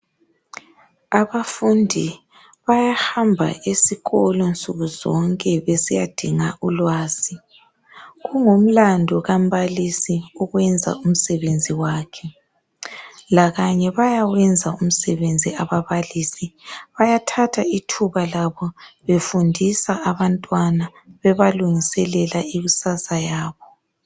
Abafundi bayahamba esikolo nsukuzonke besiyadinga ulwazi. Kungumlandu kambalosi ukwenza umsebenzi wakhe, lakanye bayawenza umsebenzi ababalisi. Bayathatha ithuba befundisa abantwana bebalungiselela ikusasa yabo.